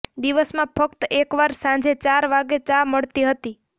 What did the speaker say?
દિવસમાં ફકત એકવાર સાંજે ચાર વાગે ચા મળતી હતી